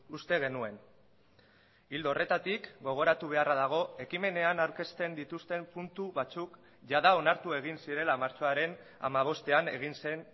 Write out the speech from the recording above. uste genuen ildo horretatik gogoratu beharra dago ekimenean aurkezten dituzten puntu batzuk jada onartu egin zirela martxoaren hamabostean egin zen